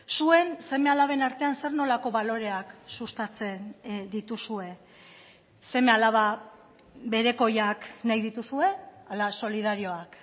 zuen seme alaben artean zer nolako baloreak sustatzen dituzue seme alaba berekoiak nahi dituzue ala solidarioak